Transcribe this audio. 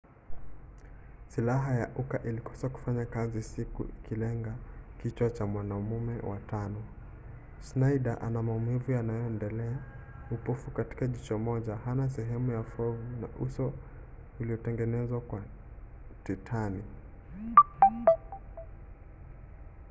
silaha ya uka ilikosa kufanya kazi huku ikilenga kichwa cha mwanamume wa tano. schneider ana maumivu yanayoendelea upofu katika jicho moja hana sehemu ya fuvu na uso uliotengenezwa kwa titani